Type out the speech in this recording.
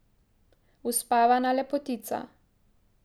Uspavana lepotica.